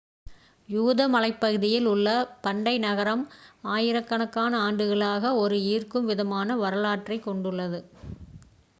யூத மலைப்பகுதியில் உள்ள பண்டைய நகரம் ஆயிரக்கணக்கான ஆண்டுகளாக ஒரு ஈர்க்கும் விதமான வரலாற்றைக் கொண்டுள்ளது